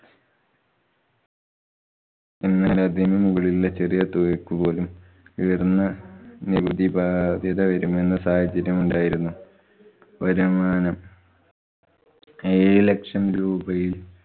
എന്നാലും അതിനു മുകളിലുള്ള ചെറിയ തുകക്കു പോലും ഉയര്‍ന്ന നികുതി ബാധ്യത വരുമെന്ന സാഹചര്യമുണ്ടായിരുന്നു. വരുമാനം ഏഴുലക്ഷം രൂപയില്‍